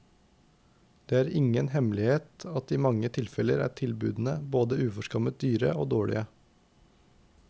Det er ingen hemmelighet at i mange tilfeller er tilbudene både uforskammet dyre og dårlige.